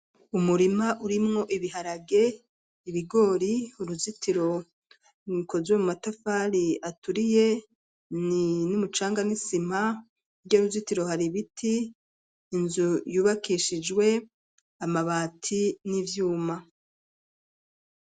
Umurima uri mwo ibiharage, ibigori uruzitiro rukozwe mu matafari aturiye, ni n'umucanga n'isima hirya y'uruzitiro hari biti, inzu yubakishijwe amabati n'ivyuma.